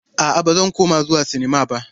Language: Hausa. A'a, ba zan kuma zuwa sinmma ba.